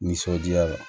Nisɔndiya la